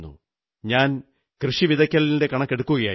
ഞാൻ കൃഷി വിതയ്ക്കലിന്റെ കണക്കെടുക്കുകയായിരുന്നു